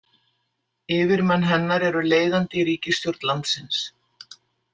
Yfirmenn hennar eru leiðandi í ríkisstjórn landsins.